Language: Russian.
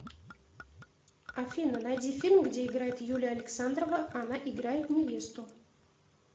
афина найди фильм где играет юлия александрова она играет невесту